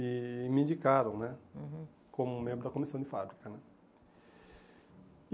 e me indicaram né, uhum, como membro da comissão de fábrica né.